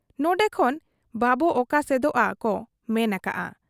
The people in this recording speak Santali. ᱱᱚᱰᱮ ᱠᱷᱚᱱ ᱵᱟᱵᱚ ᱚᱠᱟᱥᱮᱫᱚᱜ ᱟ ᱠᱚ ᱢᱮᱱ ᱟᱠᱟᱜ ᱟ ᱾